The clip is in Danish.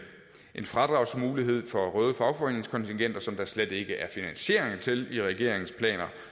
en fradragsmulighed for røde fagforeningskontingenter som der slet ikke er finansiering til i regeringens planer